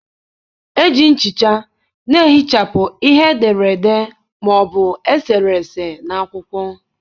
Eji nchicha na-ehichapụ ihe e dere ede ma ọ bụ e sere ese n'akwụkwọ.